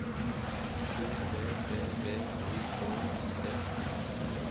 O P P V O K S T